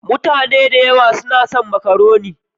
Mutane da yawa na son makaroni.